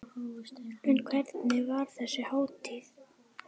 En hvernig var þessu háttað?